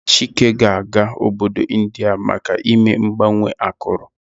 Chike ga-aga obodo India maka ime mgbanwe akụrụ.